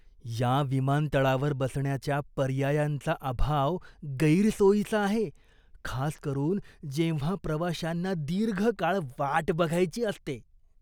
या विमानतळावर बसण्याच्या पर्यायांचा अभाव गैरसोयीचा आहे, खास करून जेव्हा प्रवाशांना दीर्घ काळ वाट बघायची असते.